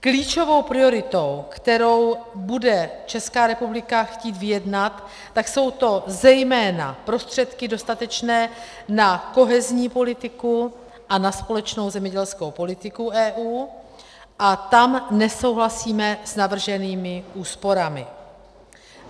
Klíčovou prioritou, kterou bude Česká republika chtít vyjednat, tak jsou to zejména prostředky dostatečné na kohezní politiku a na společnou zemědělskou politiku EU a tam nesouhlasíme s navrženými úsporami.